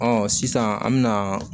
Ɔ sisan an me na